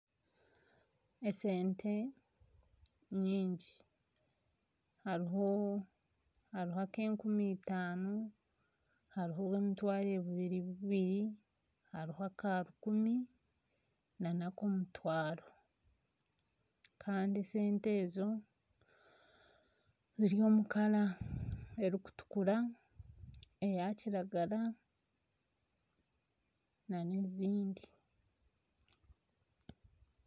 Esente nyingi hariho ek'enkumi itaano hariho obw'emitwaro ebiri bubiri hariho aka rukumi nak'omutwaro kandi esente ezo ziri omu kara erikutukura, eya kiragara na n'ezindi.